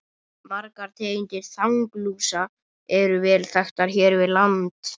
Margar tegundir þanglúsa eru vel þekktar hér við land.